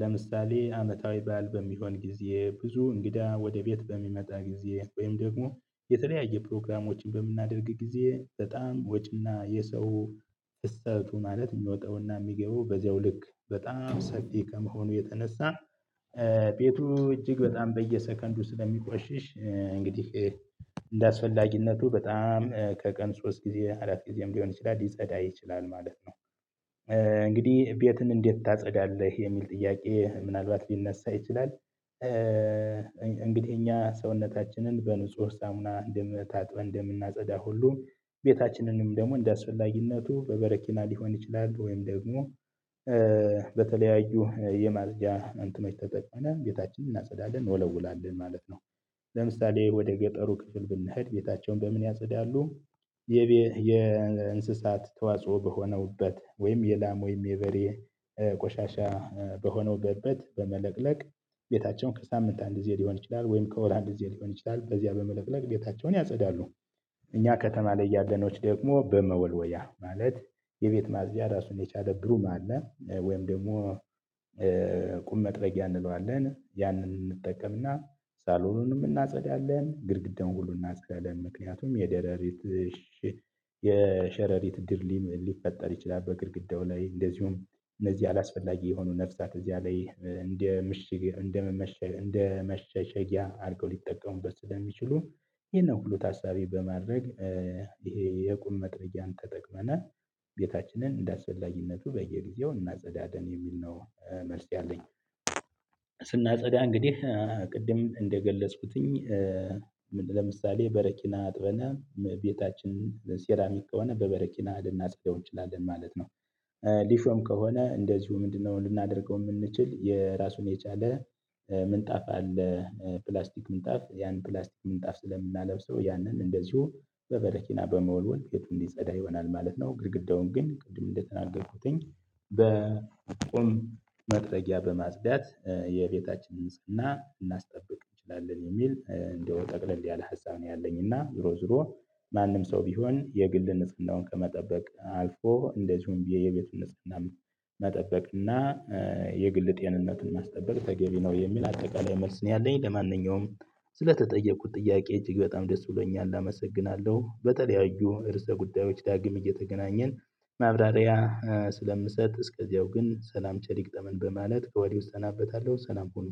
ለምሳሌ አመታዊ ባል በሚሆን ጊዜ ብዙ እንግዳ ወደ ቤት በሚመጣ ጊዜ ወይም ደግሞ የተለያየ ፕሮግራሞችን በምናደርግ ጊዜ በጣም ወጪ እና የሰው ህሰቱ ማለት የሚወጣው እና የሚገባው በዚያው ልክ በጣም ሰፊ ከመሆኑ የተነሳ ቤቱ እጅግ በጣም በየሰከንዱ ስለሚቆሽሽ እንግዲህ እንደ አስፈላጊነቱ በጣም ከቀን ሶስት ጊዜ አራት ጊዜም ሊሆን ይችላል ሊጸዳ ይችላል ማለት ነው። እንግዲህ ቤትን እንዴት ታጸዳለህ የሚል ጥያቄ ምናልባት ሊነሳ ይችላል። እንግዲህ እኛ ሰውነታችንን በንጹህ ሳሙና ታጥበን እንደምናጸዳ ሁሉ ቤታችንንም ደግሞ እንደአስፈላጊነቱ በበረኪና ሊሆን ይችላል ወይም ደግሞ በተለያዩ የማጽጃ እንትኖችን ተጠቅመን ቤታችንን እናጸዳለን እንወለውላለን ማለት ነው። ለምሳሌ ወደ ገጠሩ ክፍል ብንሄድ ቤታቸውን በምን ያጽዳሉ? የእንስሳት ተዋጽኦ በሆነበት ወይም የላም ወይም የበሬ ቆሻሻ በሆነው በእበት በመለቅለቅ ቤታቸውን ከሳምንት አንድ ጊዜ ሊሆን ይችላል ወይም ከወር አንድ ጊዜ ሊሆን ይችላል በዚያ በመለቅለቅ ቤታቸውን ያጸዳሉ። እኛ ከተማ ላይ ያለነው ደግሞ በመወልወያ ማለት የቤት ማጽጃ ራሱን የቻለ ብሩም አለ ወይም ደግሞ ቁም መጥረጊያ እንለዋለን ያንን እንጠቀም እና ሳሎኑንም እናጸዳለን ግድግዳውን ሁሉ እናጸዳለን ምክንያቱም የደረሪት የሸረሪት ድር ሊፈጠር ይችላል በግድግዳው ላይ እንደዚሁም እነዚህ አላስፈላጊ የሆኑ ነፍሳት እዚያ ላይ እንደ ምሽግ እንደመሸሸጊያ አድርገው ሊጠቀሙበት ስለሚችሉ ይሄን ሁሉ ታሳቢ በማድረግ ይሄ የቁም መጥረጊያ ተጠቅመን ቤታችንን እንደ አስፈላጊነቱ በየጊዜው እናጸዳለን የሚል ነው መልስ ያለኝ። ስናጸዳ እንግዲህ ቅድም እንደገለጽኩትኝ ለምሳሌ በረኪና አጥበን ቤታችን ሴራሚክ ከሆነ በበረኪና ልናጸዳው እንችላለን ማለት ነው። ሊሾም ከሆነ እንደዚሁ ምንድነው ልናደርገው የምንችል የራሱን የቻለ ምንጣፍ አለ? ፕላስቲክ ምንጣፍ ያን ፕላስቲክ ምንጣፍ ስለምናለብሰው ያንን እንደዚሁ በበረኪና በመወልወል ቤቱን እንዲጸዳ ይሆናል ማለት ነው። ግድግዳውን ግን ቅድም እንደተናገርኩትኝ በቁም መጥረጊያ በማጽዳት የቤታችንን ንጽህና ልናስጠብቅ እንችላለን የሚል እንደው ጠቅለል ያለ ሀሳብ ነው ያለኝ። እና ዙሮ ዙሮ ማንም ሰው ቢሆን የግል ንጽህናውን ከመጠበቅ አልፎ እንደዚሁም የቤቱን ንጽህና መጠበቅ እና የግል ጤንነትን ማስጠበቅ ተገቢ ነው የሚል አጠቃላይ መልስ ነው ያለኝ። ለማንኛውም ስለተጠየቁት ጥያቄ እጅግ በጣም ደስ ብሎኛል አመሰግናለሁ። በተለያዩ ርዕሰ ጉዳዮች ዳግም እየተገናኘን ማብራሪያ ስለምሰጥ እስከዚያው ግን ሰላም ቸር ይግጠመን በማለት ከወዲሁ እሰናበታለሁ ሰላም ሁኑ።